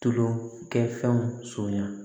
Tulokɛ fɛnw sonyan